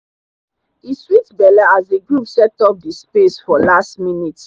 e sweet belle as the group set up the the space for last minute.